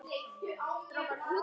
sagði Dóri.